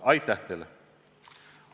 Aitäh teile!